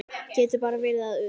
Getur bara verið að utan.